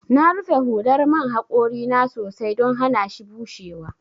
Na rufe hular man haƙori na sosai don hanashi bushewa.